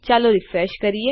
ચાલો રીફ્રેશ કરીએ